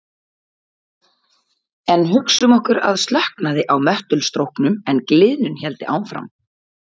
En hugsum okkur að slökknaði á möttulstróknum en gliðnun héldi áfram.